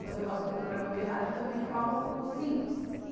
Quando eu faço meu programa de rádio, também eu falo simples.